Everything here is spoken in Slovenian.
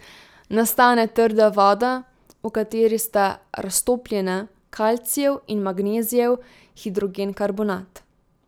Nastane trda voda, v kateri sta raztopljena kalcijev in magnezijev hidrogenkarbonat.